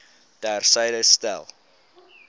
ter syde stel